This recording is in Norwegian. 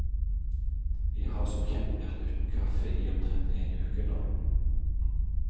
Vi har som kjent vært uten kaffe i omtrent en uke nå.